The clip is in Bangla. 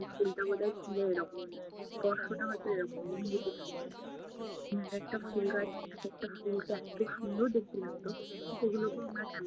ফুলটা বোধহয় ছিলো এরকম, স্পর্শটা হয়ত এরকম। এক একটা ফুলগাছ এক একটা ফুলকে এতো সুন্দর দেখতে লাগতো!